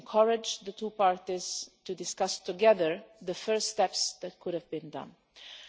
We had encouraged the two parties to discuss together the first steps that could be made.